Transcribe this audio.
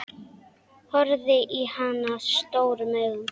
Horfði á hana stórum augum.